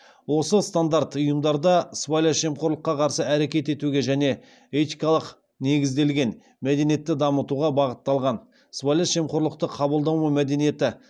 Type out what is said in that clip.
осы стандарт ұйымдарда сыбайлас жемқорлыққа қарсы әрекет етуге және этикалық негізделген мәдениетті дамытуға бағытталған